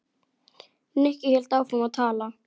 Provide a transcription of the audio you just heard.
Nikki hélt áfram að tala.